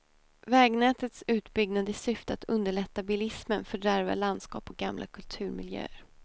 Vägnätets utbyggnad i syfte att underlätta bilismen fördärvar landskap och gamla kulturmiljöer.